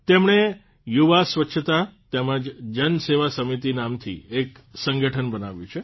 તેમણે યુવા સ્વચ્છતા તેમજ જનસેવા સમિતિ નામથી એક સંગઠન બનાવ્યું છે